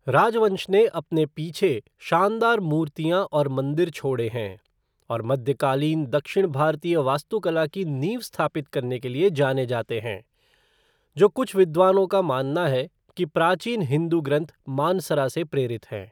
राजवंश ने अपने पीछे शानदार मूर्तियाँ और मंदिर छोड़े हैं, और मध्यकालीन दक्षिण भारतीय वास्तुकला की नींव स्थापित करने के लिए जाने जाते हैं, जो कुछ विद्वानों का मानना है कि प्राचीन हिंदू ग्रंथ मानसरा से प्रेरित हैं।